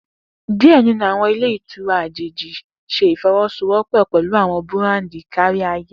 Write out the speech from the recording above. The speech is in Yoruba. Diẹ ninu awọn ilè ìtura ajeji ṣe ifọwọsowọpọ pẹlu awọn burandi kariaye.